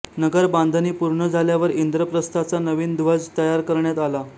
नगर बांधणी पूर्ण झाल्यावर इंद्रप्रस्थाचा नवीन ध्वज तयार करण्यात आला